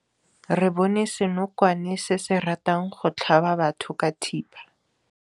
Re bone senokwane se se ratang go tlhaba batho ka thipa.